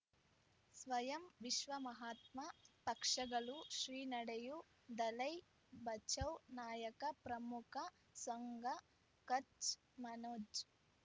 ಸ್ವಯಂ ವಿಶ್ವ ಮಹಾತ್ಮ ಪಕ್ಷಗಳು ಶ್ರೀ ನಡೆಯೂ ದಲೈ ಬಚೌ ನಾಯಕ ಪ್ರಮುಖ ಸಂಘ ಕಚ್ ಮನೋಜ್